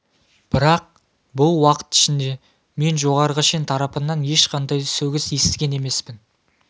бірақ бұл уақыт ішінде мен жоғарғы шен тарапынан ешқандай сөгіс естіген емеспін